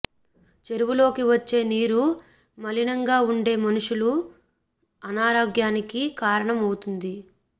చెరువులోకి వచ్చే నీరు మలినంగా ఉండే మనుషులు అనారోగ్యానికి కారణం అవుతుంది